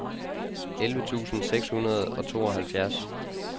elleve tusind seks hundrede og tooghalvfjerds